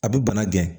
A bɛ bana gɛn